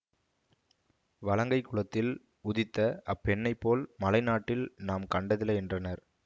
வலங்கை குலத்தில் உதித்த அப்பெண்ணைப்போல் மலைநாட்டில் நாம் கண்டதில்லை என்றனர்